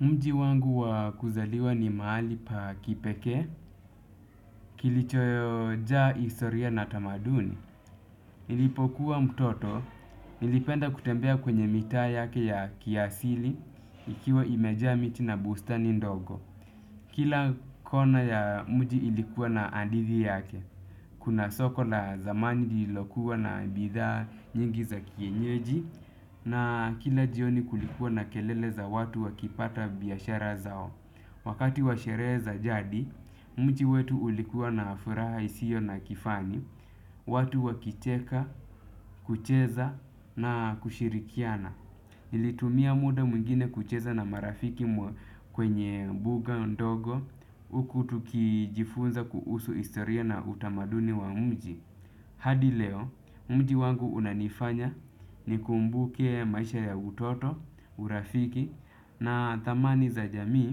Mji wangu wakuzaliwa ni mahali pa kipekee, kilichoyojaa historia na tamaduni. Nilipokuwa mtoto, nilipenda kutembea kwenye mitaa yake ya kiasili, ikiwa imejaa miti na bustani ndogo. Kila kona ya mji ilikuwa na andidi yake, kuna soko la zamani lilokuwa na bidhaa nyingi za kienyeji, na kila jioni kulikuwa na kelele za watu wakipata biashara zao. Wakati washerehe za jadi, mji wetu ulikuwa na furaha isio na kifani, watu wakicheka, kucheza na kushirikiana. Nilitumia muda mwingine kucheza na marafiki kwenye buga ndogo, uku tukijifunza kuhusu historia na utamaduni wa mji. Hadi leo, mji wangu unanifanya nikumbuke maisha ya utoto, urafiki na thamani za jamii